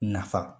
Nafa